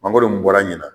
Mangoro bɔra ɲina